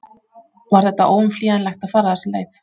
Var þetta óumflýjanlegt að fara þessa leið?